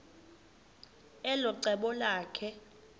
elo cebo lakhe